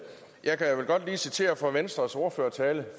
jeg vil godt lige citere fra venstres ordførertale